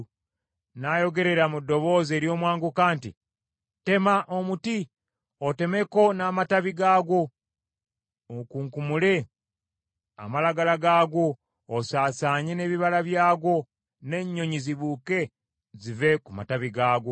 N’ayogerera mu ddoboozi ery’omwanguka nti, ‘Tema omuti, otemeko n’amatabi gaagwo; okunkumule amalagala gaagwo, osaasaanye n’ebibala byagwo, n’ennyonyi zibuuke zive ku matabi gaagwo.